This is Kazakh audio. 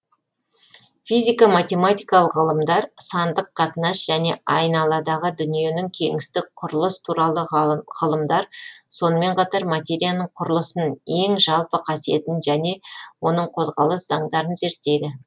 физика математикалық ғылымдар сандық қатынас және айналадағы дүниенің кеңістік құрылыс туралы ғылымдар сонымен қатар материяның құрылысын ең жалпы қасиетін және оның қозғалыс заңдарын зерттейді